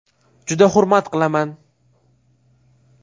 Juda hurmat qilaman.